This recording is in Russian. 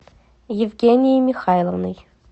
евгенией михайловной